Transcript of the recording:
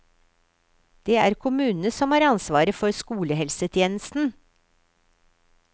Det er kommunene som har ansvaret for skolehelsetjenesten.